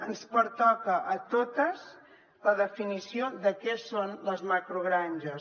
ens pertoca a totes la definició de què són les macrogranges